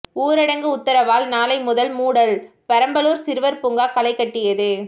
ஊரடங்கு உத்தரவால் நாளை முதல் மூடல் பெரம்பலூர் சிறுவர் பூங்கா களைகட்டியது